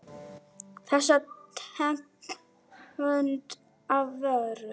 Þessa tegund af vöru.